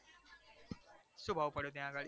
શું ભાવે પડ્યો ત્યાં આગળ?